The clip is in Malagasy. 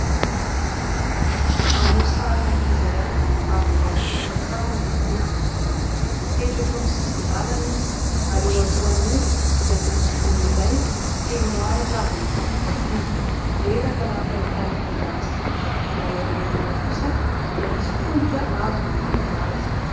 Maneho sarin'ankizy iray avy niasa tany an-tsaha no hita eto, mipetraka eo amin'ny sisin-dàlana izy ary eo alohany eo dia misy gony iray feno ahitra avy nofakofakoana. Reraka raha ny fahitana ity zaza ity ery aorinany kosa dia misy tongotra avy manantona azy.